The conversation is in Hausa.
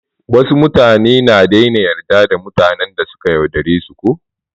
Wasu mutane na daina yarda da mutanen da suka yaudare su ko.